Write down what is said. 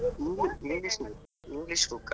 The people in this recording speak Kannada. Engli~ English, English book ಆ?